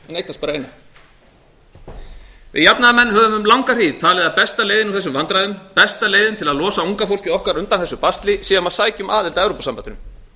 eignast bara eina við jafnaðarmenn höfum um langa hríð talið að besta leiðin úr þessu vandræðum besta leiðin til að losa unga fólkið okkar undan þessu basli sé að sækja um aðild að evrópusambandinu